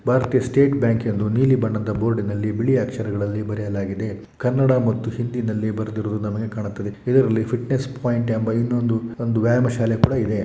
ಭಾರತೀಯ State Bank ಎಂದು ನೀಲಿ ಬಣ್ಣದ ಬೋರ್ಡಿನಲ್ಲಿ ಬಿಳಿ ಅಕ್ಷರಗಳಲ್ಲಿ ಬರೆಯಲಾಗಿದೆ ಕನ್ನಡ ಮತ್ತು ಹಿಂದಿ ನಲ್ಲಿ ಬರೆದಿರುವುದು ನನಗೆ ಕಾಣುತ್ತದೆ ಇದರಲ್ಲಿ ಫಿಟ್ನೆಸ್ ಪಾಯಿಂಟ್ ಎಂಬ ಇನ್ನೊಂದು ವ್ಯಾಯಾಮ ಶಾಲೆ ಕೂಡ ಇದೆ.